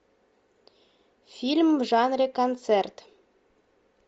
фильм в жанре концерт